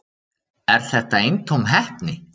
Er þetta eintóm heppni